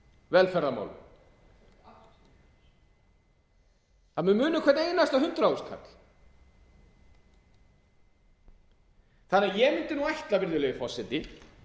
viðkvæmu velferðarmálum það mun muna um hvern einasta hundrað þúsund kall þannig að ég mundi ætla virðulegi forseti